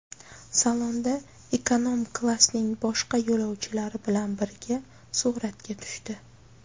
Salonda ekonom-klassning boshqa yo‘lovchilari bilan birga suratga tushdi.